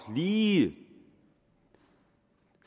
lige